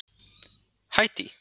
Haítí